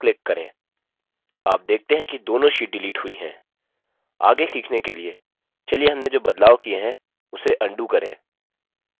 आप देखते हैं कि दोनों sheets डिलीट हुई हैं आगे सीखने के लिए चलिए हमने जो बदलाव किए है उसे अन्डू करें